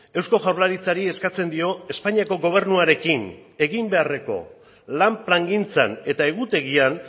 eusko jaurlaritzari eskatzen dio espainiako gobernuarekin egin beharreko lan plangintzan eta egutegian